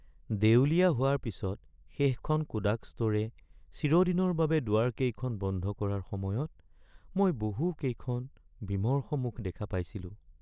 দেউলিয়া হোৱাৰ পিছত শেষখন কোডাক ষ্ট’ৰে চিৰদিনৰ বাবে দুৱাৰকেইখন বন্ধ কৰাৰ সময়ত মই বহুকেইখন বিমৰ্ষ মুখ দেখা পাইছিলোঁ।